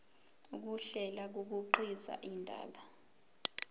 ukuhlela kukhiqiza indaba